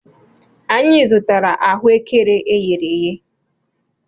Anyị zụtara ahụekere eghere eghe.